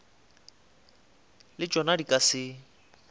le tšona di ka se